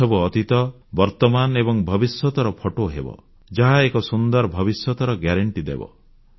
ଏସବୁ ଅତୀତ ବର୍ତମାନ ଏବଂ ଭବିଷ୍ୟତର ଫଟୋ ହେବ ଯାହା ଏକ ସୁନ୍ଦର ଭବିଷ୍ୟତର ଗ୍ୟାରେଣ୍ଟି ହେବ